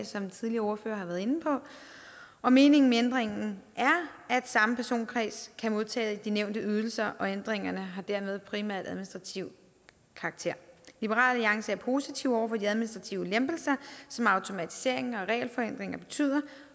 som tidligere ordførere har været inde på og meningen med ændringen er at samme personkreds kan modtage de nævnte ydelser og ændringerne har dermed primært administrativ karakter liberal alliance er positive over for de administrative lempelser som automatiseringen og regelforenklingerne betyder